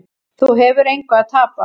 Þú hefur engu að tapa.